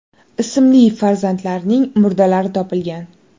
ismli farzandlarining murdalari topilgan.